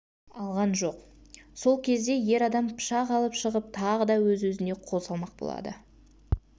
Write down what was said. алған жоқ сол кезде ер адам пышақ алып шығып тағы да өз-өзіне қол салмақ болады